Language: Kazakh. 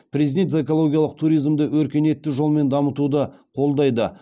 президент экологиялық туризмді өркениетті жолмен дамытуды қолдайды